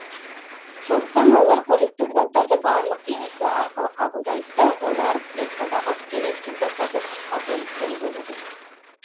сондықтан олар қоректік заттарды барлық денесі арқылы қабылдайды да олар клеткадағы керексіз заттарды сыртқа бөліп те үлгереді